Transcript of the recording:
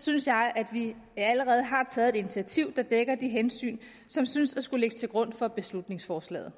synes jeg at vi allerede har taget et initiativ der dækker de hensyn som synes at skulle ligge til grund for beslutningsforslaget